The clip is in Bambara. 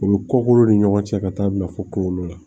O bɛ kokolo ni ɲɔgɔn cɛ ka taa bila fo kungolo la